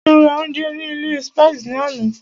Ṣé o rà oúnjẹ ní ilé Spices ní àná?